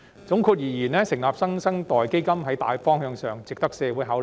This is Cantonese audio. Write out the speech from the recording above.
總括而言，成立"新生代基金"在大方向上值得社會考慮。